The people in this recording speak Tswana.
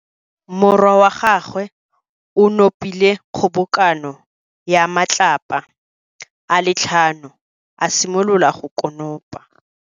Morwa wa gagwe o nopile kgobokano ya matlapa a le tlhano, a simolola go konopa.